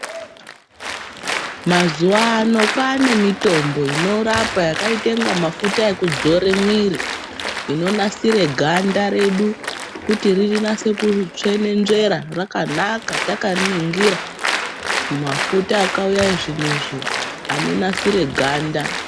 Mazuva ano kwaanemitombo inorapa yakaite inga mafuta ekudzore mwiiri. Inonasire ganda redu kuti rinase kutsvenenzvera rakanaka takariningira. Mafuta akauya ezvinezvi, anonasire ganda.